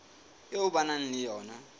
eo ba nang le yona